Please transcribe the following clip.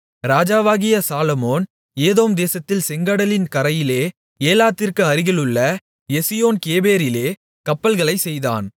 ராஜாவாகிய சாலொமோன் ஏதோம் தேசத்தில் செங்கடலின் கரையிலே ஏலாத்திற்கு அருகிலுள்ள எசியோன் கேபேரிலே கப்பல்களைச் செய்தான்